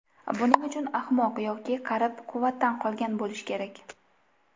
Buning uchun ahmoq yoki qarib, quvvatdan qolgan bo‘lish kerak.